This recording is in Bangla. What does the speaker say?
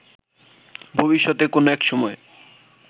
ভবিষ্যতে কোনো একসময়